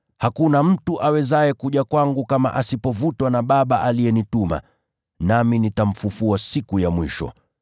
Hakuna mtu awezaye kuja kwangu kama asipovutwa na Baba aliyenituma, nami nitamfufua siku ya mwisho.